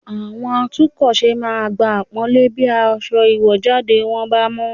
Àwọn atúnkọ̀ṣe máa gba àpọ́nlé bí aṣọ ìwọ̀jáde bá mọ́